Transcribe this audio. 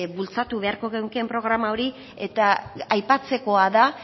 bultzatu beharko genukeen programa hori eta aipatzekoa da